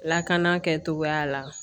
Lakana kɛcogoya la